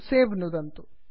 सवे नुदन्तु